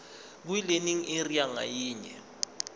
kwilearning area ngayinye